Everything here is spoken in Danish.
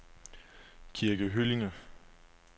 Kirke Hyllinge